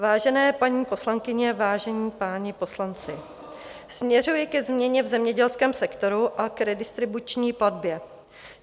Vážené paní poslankyně, vážení páni poslanci, směřuji ke změně v zemědělském sektoru a k redistribuční platbě.